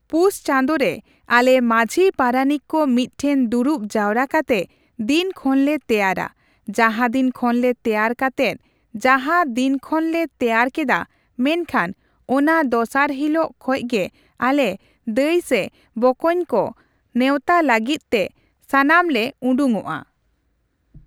ᱯᱩᱥᱪᱟᱸᱫᱚ ᱨᱮ ᱟᱞᱮ ᱢᱟᱹᱡᱷᱤ ᱯᱟᱨᱟᱱᱤᱠ ᱠᱚ ᱢᱤᱫ ᱴᱷᱮᱱ ᱫᱩᱲᱩᱵ ᱡᱟᱨᱣᱟ ᱠᱟᱛᱮᱜ ᱫᱤᱱᱠᱷᱚᱱᱞᱮ ᱛᱮᱭᱟᱨᱟ ᱡᱟᱦᱟᱫᱤᱱ ᱠᱷᱚᱱᱞᱮ ᱛᱮᱭᱟᱨ ᱠᱟᱛᱮᱫ ᱡᱟᱦᱟᱸ ᱫᱤᱱᱠᱷᱚᱱ ᱞᱮ ᱛᱮᱭᱟᱨ ᱠᱮᱫᱟ ᱢᱮᱱᱠᱷᱟᱱ ᱚᱱᱟ ᱫᱚᱥᱟᱨ ᱦᱤᱞᱟᱹᱜ ᱠᱷᱚᱡᱜᱮ ᱟᱞᱮ ᱫᱟᱹᱭ ᱥᱮ ᱵᱚᱠᱚᱧᱠᱚᱧ ᱠᱚ ᱱᱮᱣᱛᱟ ᱞᱟᱹᱜᱤᱫ ᱛᱮ ᱥᱟᱱᱟᱢᱞᱮ ᱩᱰᱩᱝᱚᱜᱼᱟ ᱾